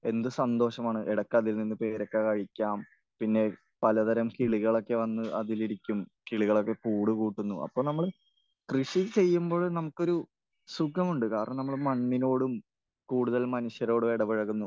എന്ത് സന്തോഷമാണ്. ഇടയ്ക്ക് അതിൽ നിന്ന് പേരക്ക കഴിക്കാം. പിന്നെ പല തരം കിളികളൊക്കെ വന്ന് അതിലിരിക്കും. കിളികളൊക്കെ കൂട് കൂട്ടുന്നു. അപ്പോൾ നമ്മൾ കൃഷി ചെയ്യുമ്പോഴും നമുക്കൊരു സുഖമുണ്ട്. കാരണം നമ്മൾ മണ്ണിനോടും കൂടുതൽ മനുഷ്യരോടും ഇടപെഴകുന്നു.